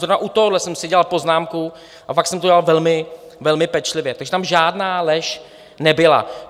Zrovna u tohohle jsem si dělal poznámku a fakt jsem to dělal velmi pečlivě, takže tam žádná lež nebyla.